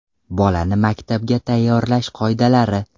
Bolani maktabga tayyorlash qoidalari.